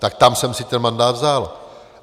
Tak tam jsem si ten mandát vzal.